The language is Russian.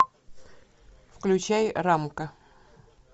включай рамка